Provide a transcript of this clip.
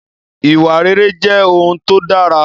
Ìwà rere jẹ́ ohun tó dára